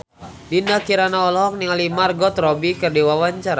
Dinda Kirana olohok ningali Margot Robbie keur diwawancara